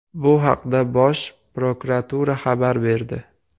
Bu haqda Bosh Prokuratura xabar berdi .